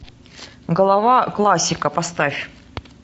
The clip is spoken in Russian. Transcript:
голова классика поставь